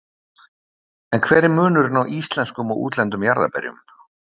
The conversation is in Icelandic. En hver er munurinn á íslenskum og útlendum jarðarberjum?